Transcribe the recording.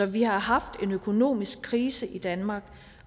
vi har haft en økonomisk krise i danmark